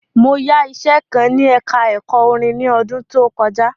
Mo yá iṣẹ kan ní ẹka ẹ̀kọ́ orin ni ọdún tí ó kọjá.